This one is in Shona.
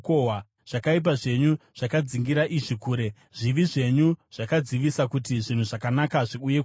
Zvakaipa zvenyu zvakadzingira izvi kure; zvivi zvenyu zvakadzivisa kuti zvinhu zvakanaka zviuye kwamuri.